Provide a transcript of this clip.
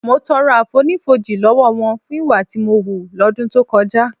Mo tọrọ àfonífojì lọ́wọ́ wọn fún ìwà tí mo hù lọ́dún tó kọjá